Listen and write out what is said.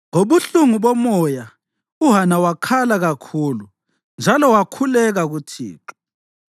Ngobuhlungu bomoya uHana wakhala kakhulu njalo wakhuleka kuThixo.